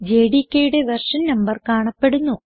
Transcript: jdkയുടെ version number കാണപ്പെടുന്നു